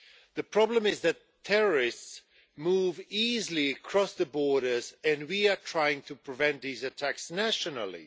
The problem is that terrorists move easily across borders and we are trying to prevent these attacks nationally.